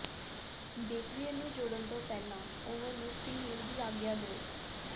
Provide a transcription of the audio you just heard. bakeware ਨੂੰ ਜੋੜਨ ਤੋਂ ਪਹਿਲਾਂ ਓਵਨ ਨੂੰ ਪ੍ਰੀਹੇਲ ਦੀ ਆਗਿਆ ਦਿਓ